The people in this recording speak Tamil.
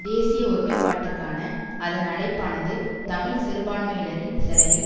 தேசிய ஒருமைப்பாட்டுக்கான அதன் அழைப்பானது தமிழ் சிறுமான்மையினரின் செலவில்